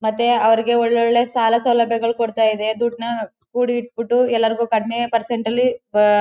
ಮತ್ತೆ ಅವರಿಗೆ ಒಳ್ಳೊಳ್ಳೆ ಸಾಲ ಸೌಲಭ್ಯಗಳ್ ಕೊಡ್ತಾ ಇದೆ ದೊಡ್ದುನ ಕುಡು ಇಟಬಿಟ್ಟು ಎಲ್ಲರಿಗೂ ಕಡಿಮೆ ಪರ್ಸೆಂಟ್ ಅಲ್ಲಿ--